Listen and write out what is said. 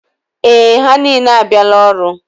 Ee, ha niile abịala ọrụ.